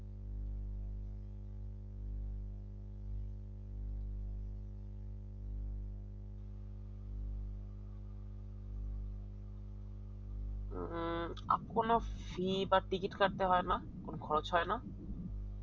উম এখনো fee বা ticket কাটতে হয় না তখন খরচ হয় না